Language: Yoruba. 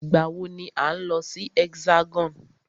Ìgbà wọ ni à ń lọ sí Hexagon?